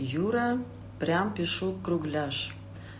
юра прям пишу кругляш